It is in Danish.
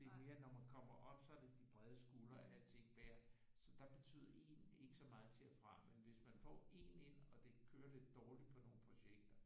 Det er mere når man kommer op så er det de brede skuldre alting bærer så der betyder en ikke så meget til og fra men hvis man får én ind og det kører lidt dårligt på nogle projekter